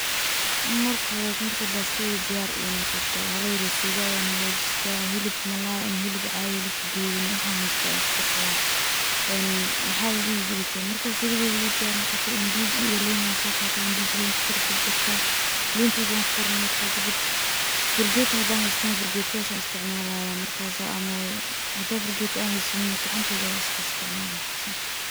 Marka xoreto marka pastadey diyar ay nogoto, xala yar oo suga ah ayan xagajista, xilib malay ama xilib cadii ama xilib qadudan waxan xaysto ayan kukarsada, een maxa ladixijireyte marki suqada ii diyar nogoto ndizi iyo liin an sogataa, ndizi ki ayan kukorjarjarta, liintedi wan kukormirta marka kadib, furgeto xadan xaystana furgetadas ayan isticmalaya, markas ama xadaan furgeta an xaysaniin gacantedya ayan iskaisticmala simple.